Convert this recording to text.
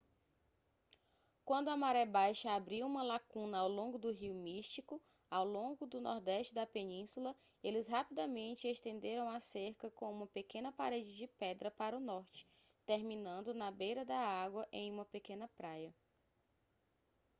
quando a maré baixa abriu uma lacuna ao longo do rio místico ao longo do nordeste da península eles rapidamente estenderam a cerca com uma pequena parede de pedra para o norte terminando na beira da água em uma pequena praia